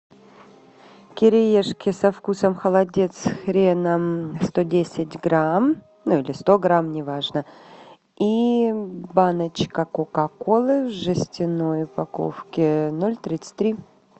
кириешки со вкусом холодец с хреном сто десят грамм ну или сто грамм неважно и баночка кока колы в жестяной упаковке ноль тридцать три